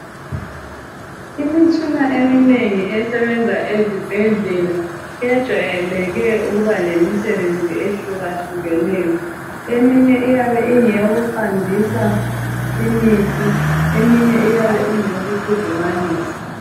Imitshina eminengi esebenza ezibhedlela kwejwayeleke ukuba lemisebenzi ehlukahlukeneyo. Eminye iyabe ingeyo kuqandisa imithi. Eminye iyabe ingeyo kukhudumalisa.